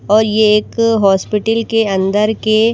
और ये एक अ हॉस्पिटल के अंदर के --